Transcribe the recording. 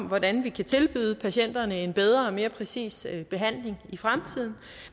hvordan vi kan tilbyde patienterne en bedre og mere præcis behandling i fremtiden